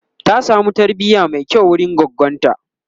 ta samu tarbiya Mai kyau wurin goggonta